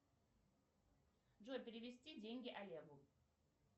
джой перевести деньги олегу